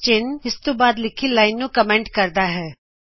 ਚਿਨਹ ਇਸਤੋਂ ਬਾਦ ਲਿਖੀ ਲਾਇਨ ਨੂੰ ਕਮੈਂਟ ਕਰਦਾ ਹੈਂ